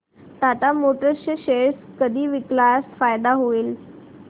Tata motors चे share कधी विकल्यास फायदा होईल